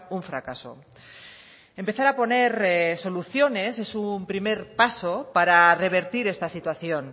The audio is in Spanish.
un fracaso empezar a poner soluciones es un primer paso para revertir esta situación